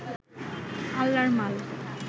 আল্লার মাল